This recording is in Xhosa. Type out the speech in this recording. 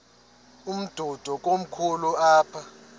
umdudo komkhulu apha